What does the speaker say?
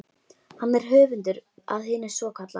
Hann er höfundur að hinu svokallaða